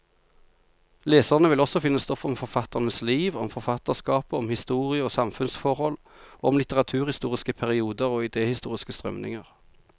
Leserne vil også finne stoff om forfatternes liv, om forfatterskapet, om historie og samfunnsforhold, og om litteraturhistoriske perioder og idehistoriske strømninger.